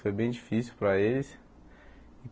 Foi bem difícil para eles.